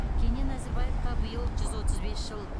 кенен әзірбаевқа биыл жүз отыз бес жыл